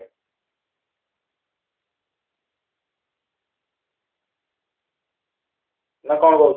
ନା, କ'ଣ କହୁଛ ?